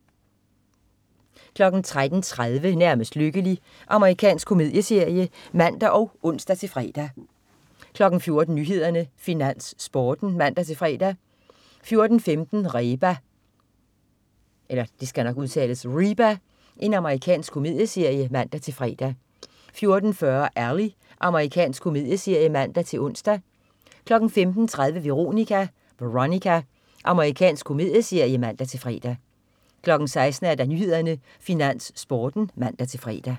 13.30 Nærmest lykkelig. Amerikansk komedieserie (man og ons-fre) 14.00 Nyhederne, Finans, Sporten (man-fre) 14.15 Reba. Amerikansk komedieserie (man-fre) 14.40 Ally. Amerikansk komedieserie (man-ons) 15.30 Veronica. Amerikansk komedieserie (man-fre) 16.00 Nyhederne, Finans, Sporten (man-fre)